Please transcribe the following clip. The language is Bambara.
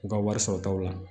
U ka wari sɔrɔtaw la